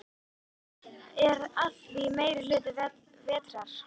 Er að því meiri hluta vetrar.